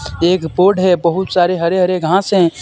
एक है बहुत सारे हरे हरे घास है.